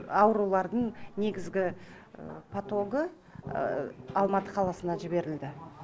аурулардың негізгі потогы алматы қаласына жіберілді